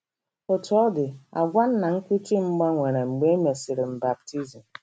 Otú ọ dị, àgwà nna nkuchi m gbanwere mgbe e mesịrị m baptizim.